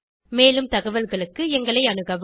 மேலும் தகவல்களுக்கு எங்களை அணுகவும்